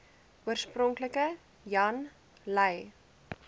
oorspronklik jan lui